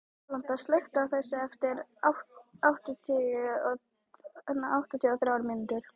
Alanta, slökktu á þessu eftir áttatíu og þrjár mínútur.